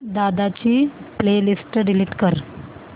दादा ची playlist delete कर